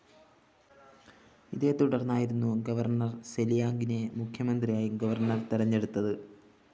ഇതേതുടര്‍ന്നായിരുന്നു governor സെലിയാംഗിനെ മുഖ്യമന്ത്രിയായി governor തെരഞ്ഞെടുത്തത്